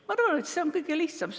Ma arvan, et see on kõige lihtsam.